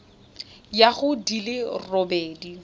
ya go di le robedi